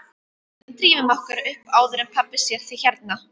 Drífum okkur upp áður en pabbi sér þig hérna